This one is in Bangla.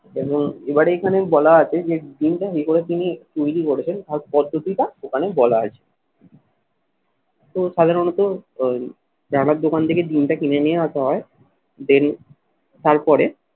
এবং এবারে এখানে বলা আছে যে ডিমটা এ করে তিনি তৈরি করেছেন তাঁর পদ্ধতিটা ওখানে বলা আছে। তো সাধারণত ওই রানার দোকান থেকে ডিমটা কিনে নিয়ে আসা হয় daily তারপরে